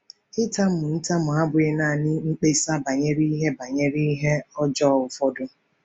Ịtamu ntamu abụghị nanị mkpesa banyere ihe banyere ihe ọjọọ ụfọdụ.